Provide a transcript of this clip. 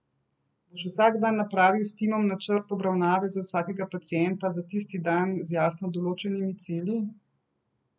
Boš vsak dan napravil s timom načrt obravnave za vsakega pacienta za tisti dan z jasno določenimi cilji?